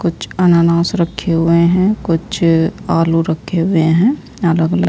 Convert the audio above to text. कुछ अनानास रखे हुए हैं कुछ आलू रखे हुए हैं अलग अलग।